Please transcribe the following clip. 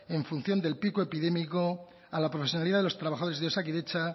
en función del pico epidémico a la profesionalidad de los trabajadores de osakidetza